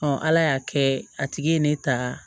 ala y'a kɛ a tigi ye ne ta